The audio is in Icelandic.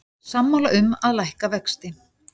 Sammála um að lækka vexti